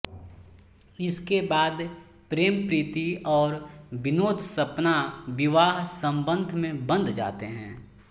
इसके बाद प्रेमप्रीति और विनोदसपना विवाह बंधन में बंध जाते हैं